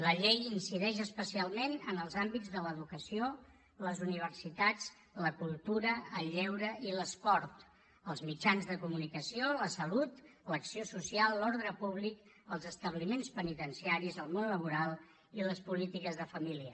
la llei incideix especialment en els àmbits de l’educació les universitats la cultura el lleure i l’esport els mitjans de comunicació la salut l’acció social l’ordre públic els establiments penitenciaris el món laboral i les polítiques de família